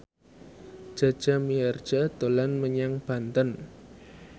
Jaja Mihardja dolan menyang Banten